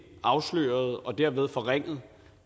afsløret og derved forringet